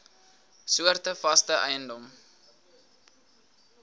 soorte vaste eiendom